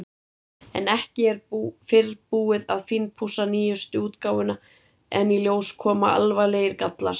En ekki er fyrr búið að fínpússa nýjustu útgáfuna en í ljós koma alvarlegir gallar.